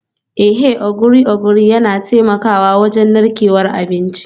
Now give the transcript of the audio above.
Eh, Ogiri ogiri yana taimakawa wajen narkewar abinci